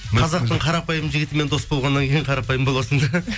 қазақтың қарапайым жігітімен дос болғаннан кейін қарапайым боласың